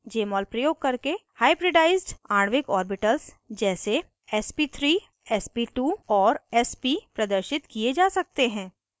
jmol प्रयोग करके hybridized आणविक ऑर्बिटल्स जैसे sp